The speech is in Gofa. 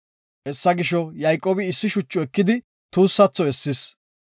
Hessa gisho, Yayqoobi issi shucha ekidi tuussatho essis.